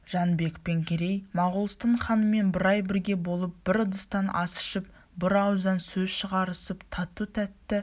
жәнібек пен керей моғолстан ханымен бір ай бірге болып бір ыдыстан ас ішісіп бір ауыздан сөз шығарысып тату-тәтті